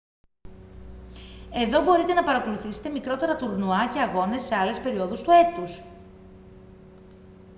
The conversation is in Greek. εδώ μπορείτε να παρακολουθήσετε μικρότερα τουρνουά και αγώνες σε άλλες περιόδους του έτους